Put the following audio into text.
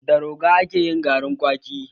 Da roga ake yin garin kwaki